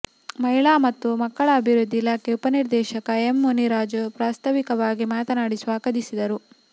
ಮಹಿಳಾ ಮತ್ತು ಮಕ್ಕಳ ಅಭಿವೃದ್ಧಿ ಇಲಾಖೆ ಉಪನಿರ್ದೇಶಕ ಎಂ ಮುನಿರಾಜು ಪ್ರಸ್ತಾವಿಕವಾಗಿ ಮಾತನಾಡಿ ಸ್ವಾಗತಿಸಿದರು